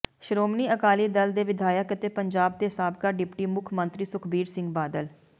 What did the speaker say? ਸ਼੍ਰੋਮਣੀ ਅਕਾਲੀ ਦਲ ਦੇ ਵਿਧਾਇਕ ਅਤੇ ਪੰਜਾਬ ਦੇ ਸਾਬਕਾ ਡਿਪਟੀ ਮੁੱਖ ਮੰਤਰੀ ਸੁਖਬੀਰ ਸਿੰਘ ਬਾਦਲ